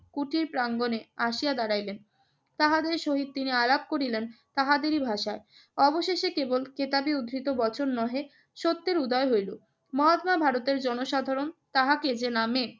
কুটির প্রাঙ্গনে আসিয়া দাঁড়াইলেন। তাহাদের সহিত তিনি আলাপ করিলেন তাহাদেরই ভাষায়। অবশেষে কেবল কেতাবে উদ্ধৃত বচন নহে সত্যের উদয় হইল। মহাত্মা ভারতের জনসাধারণ তাহাকে যে নামে